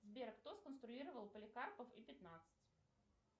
сбер кто сконструировал поликарпов и пятнадцать